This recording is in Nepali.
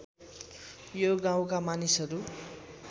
यो गाउँका मानिसहरू